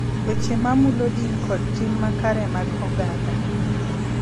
Weche ma mulo din kod tim ma kare mag oganda